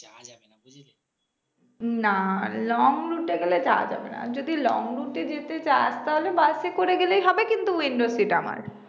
উম না long route এ গেলে যাওয়া যাবে না যদি long route এ যেতে চাস তাহলে bus এ করে গেলেই হবে কিন্তু window seat আমার